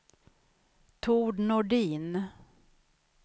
Tord Nordin